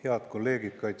Head kolleegid!